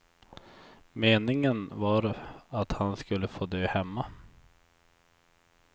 Meningen var att han skulle få dö hemma.